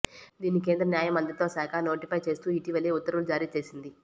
దీన్ని కేంద్ర న్యాయ మంత్రిత్వ శాఖ నోటిఫై చేస్తూ ఇటీవలే ఉత్తర్వులు జారీ చేసింది